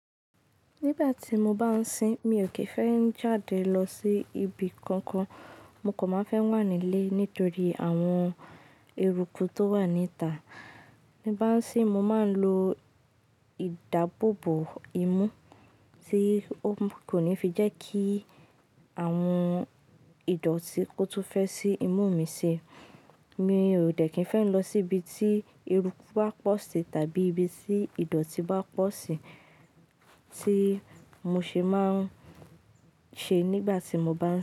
Nígbà tí mo bá ń sin, mi ò kì í fẹ́ jáde lọ sí ibi kankan. Mo kò máa fẹ́ wà nílé nítorí àwọn eruku tó wà níta. Ti bá ń sin, mo máa ń lo ìdáàbòbò imú tí ó kò ní fi jẹ́ kí àwọn ìdọ̀tí kó tún fẹ́ sí imú mi ṣi. Mi ò dẹ̀ kín fẹ́ lọ síbi tí eruku bá pọ̀ sí tàbí ibi tí ìdọ̀tí bá pọ̀ sí tí mo ṣe máa ń ṣe nígbà tí mo bá ń.